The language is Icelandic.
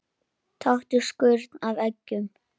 Taktu skurn af eggjum.